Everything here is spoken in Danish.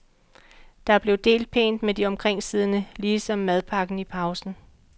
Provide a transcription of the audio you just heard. Der blev delt pænt med de omkringsiddende lige som madpakken i pausen.